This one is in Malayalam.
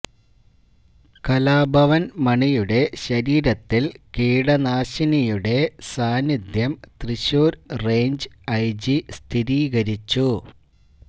കലാഭവന് മണിയുടെ ശരീരത്തില് കീടനാശിനിയുടെ സാന്നിധ്യം തൃശൂര് റേഞ്ച് ഐജി സ്ഥിരീകരിച്ചു